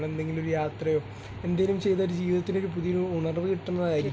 നമ്മൾ എന്തെങ്കിലും ഒരു യാത്രയോ എന്തേലും ചെയ്താൽ ഒരു ജീവിതത്തിലൊരു പുതിയ ഉണർവ് കിട്ടുന്നതായിരിക്കും.